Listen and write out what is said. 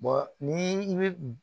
ni i bɛ